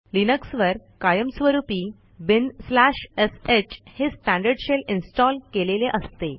लिनक्सवर कायम स्वरूपी binsh हे स्टँडर्ड शेल इन्स्टॉल केलेले असते